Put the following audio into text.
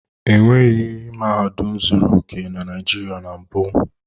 E nweghi mahadum zuru oke na Naịjirịa na mbụ.